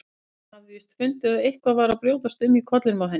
Hann hafði víst fundið að eitthvað var að brjótast um í kollinum á henni.